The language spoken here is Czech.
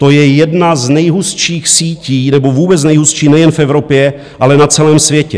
To je jedna z nejhustších sítí, nebo vůbec nejhustší nejen v Evropě, ale na celém světě.